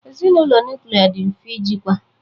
Ezinụlọ nuklia dị mfe ijikwa